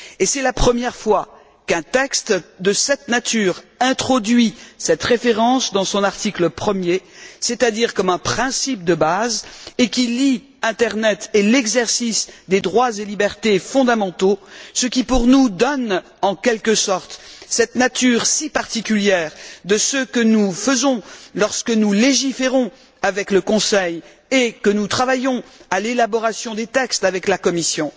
C'est la première fois qu'un texte de cette nature introduit cette référence dans son article premier, c'est à dire comme un principe de base, et qui lie l'internet et l'exercice des droits et libertés fondamentaux, ce qui, pour nous, donne en quelque sorte cette nature si particulière à ce que nous faisons lorsque nous légiférons avec le Conseil et que nous travaillons à l'élaboration des textes avec la Commission.